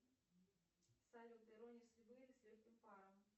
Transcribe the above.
салют ирония судьбы или с легким паром